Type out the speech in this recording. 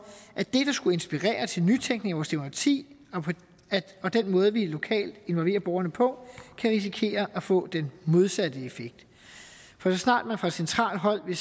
at det skulle inspirere til nytænkning i vores demokrati og den måde vi lokalt involverer borgerne på kan risikere at få den modsatte effekt for så snart man fra centralt hold